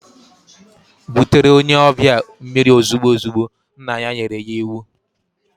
Butere onye obia mmiri ozigbo ozigbo, nna ya nyere ya iwu.